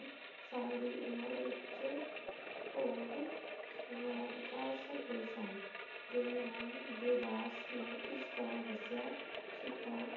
ਸਾਲ ਦੀ ਉਮਰ ਵਿਚ ਭੋਗ ਸਵਾਰਦਾਸ ਹੋਏ ਸਨ ਤੇ ਨਾਮ ਦੇ ਦਾਸ ਨੂੰ ਇਸ ਤਰ੍ਹਾਂ ਦਸਿਆ ਸੁਥਾ